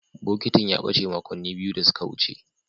Bokitin ya bace makonni biyu da suka wuce.